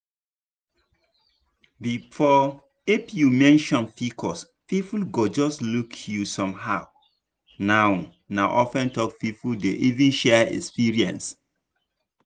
before if you mention pcos people go just look you somehow now na open talk people dey even share experience.